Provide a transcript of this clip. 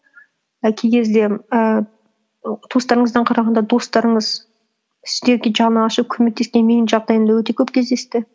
і кей кезде ііі туыстарыңыздан қарағанда достарыңыз сіздерге жаны ашып көмектескен менің жағдайымда өте көп кездесті